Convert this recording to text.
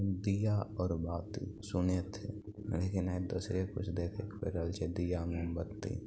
दिया और बाटी सुने थे लेकिन एक दुसरे कुछ देखे दिया और मोमबत्ती --